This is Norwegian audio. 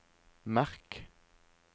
merk